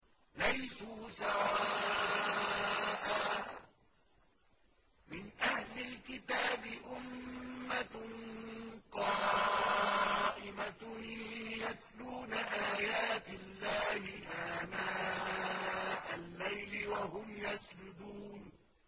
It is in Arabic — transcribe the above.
۞ لَيْسُوا سَوَاءً ۗ مِّنْ أَهْلِ الْكِتَابِ أُمَّةٌ قَائِمَةٌ يَتْلُونَ آيَاتِ اللَّهِ آنَاءَ اللَّيْلِ وَهُمْ يَسْجُدُونَ